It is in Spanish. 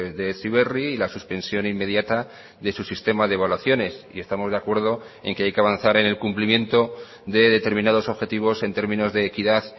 de heziberri y la suspensión inmediata de su sistema de evaluaciones y estamos de acuerdo en que hay que avanzar en el cumplimiento de determinados objetivos en términos de equidad